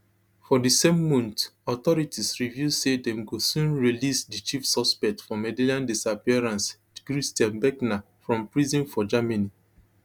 for di same month authorities reveal say dem go soon release di chief suspect for madeleine disappearance christian brckner from prison for germany